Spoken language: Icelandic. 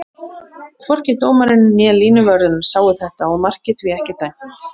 Þorvaldur Örlygsson tilkynnti strax að Ögmundi yrði sýnt traust til að fylla hans skarð.